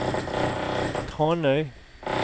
Tranøy